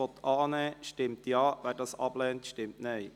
Wir stimmen über den Punkt 1 ab.